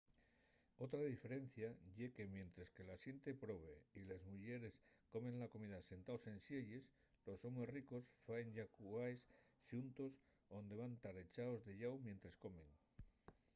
otra diferencia ye que mientres que la xente probe y les muyeres comen la comida sentaos en sielles los homes ricos faen llacuaes xuntos onde van tar echaos de llau mientres comen